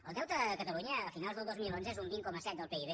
el deute a catalunya a finals del dos mil onze és un vint coma set del pib